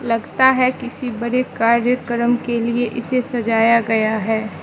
लगता है किसी बड़े कार्यक्रम के लिए इसे सजाया गया है।